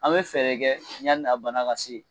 An bɛ fɛɛrɛ kɛ yani a bana ka se